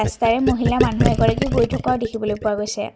মহিলা মানুহ এগৰাকী গৈ থকাও দেখিবলৈ পোৱা গৈছে।